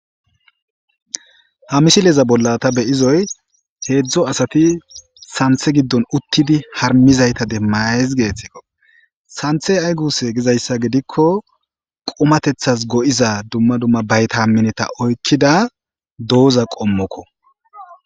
ha misileza bolla ta beyizoy heedzdzu asati santhe giddon uttidi harmizayta demmaez geethtikko santhe ay guse gizayssa gidikko qomatethas go7iza dumma dumma bayta hammineta oykkida dooza qommokko